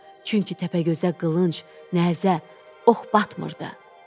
Çünki Təpəgözə qılınc, nəzə, ox batmırdı.